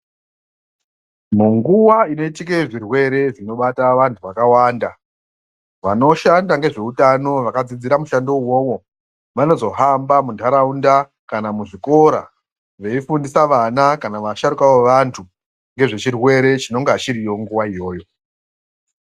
Munguwa inoitike zvirwere zvinobata vantu vakawanda vanoshanda ngezveutano vakadzidzire mushando uwowo vanozohamba munharaunda kana muzvikora veifundisa vana kana vasharukwa vevantu ngezvechirwere chinonga chiriyo nguwa iyoyo.